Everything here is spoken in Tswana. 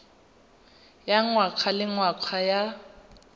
ya ngwaga le ngwaga ya